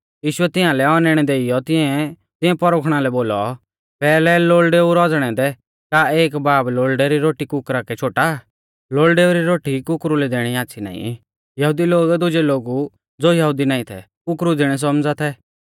यीशुऐ तियांलै औनैणै देइयौ तिऐं परखुणा लै बोलौ पैहलै लोल़डेऊ रौज़णै दै का एक बाब लोल़डै री रोटी कुकरा कै शोटा आ लोल़डेऊ री रोटी कुकुरु लै दैणी आच़्छ़ी नाईं यहुदी लोग दुजै लोगु ज़ो यहुदी नाईं थै कुकरु ज़िणै सौमझ़ा थै